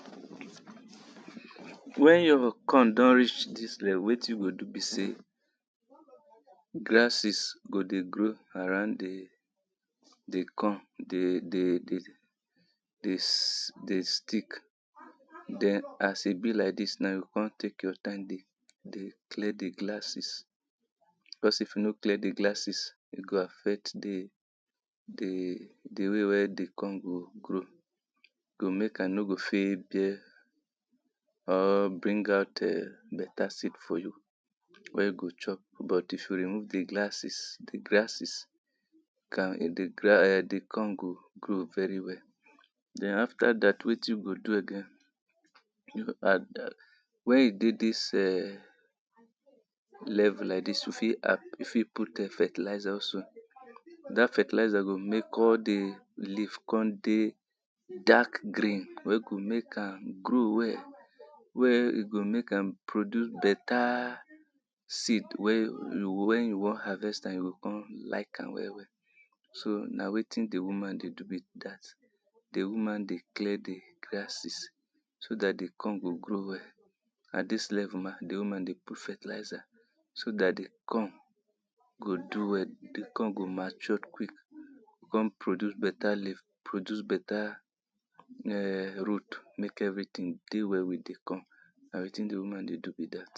when your corn don reach dis level wetin you go do be sey grasses go dey grow around the the corn dey de de de des de stick den as e be like dis na, you go con take your time dey, dey clear the glasses, cos if you no clear the glasses e go affect de, de de way wey de corn go grow, go mek am no go fit bear or bring out err better seed for you, wey you go chop but if you remove the glasses, the grasses can um the gra, um the corn go grow very well. den after dat wetin you go do again inaudible wen you dey dis um level like dis, you fit add, you fit put um fertilizer also, dat fertilizer go mek all the leaf con dey dark green wey go mek am grow well where e go mek am produce better seed wey you wey you wan harvest am, you go con like am well well. so na wetin the woman dey do be dat. the woman dey clear the grasses, so dat the corn go grow well, at dis level na the woman dey put fertilizer so dat the corn go do well, the corn go mature quick con produce better leave produce better um root mek everyting dey well with the corn na wetin the woman dey do be dat.